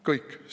Kõik.